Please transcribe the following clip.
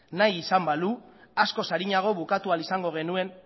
nahi izan balu askoz arinago bukatu ahal izango genuen